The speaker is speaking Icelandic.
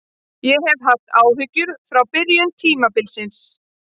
Ég hef haft áhyggjur frá byrjun tímabilsins.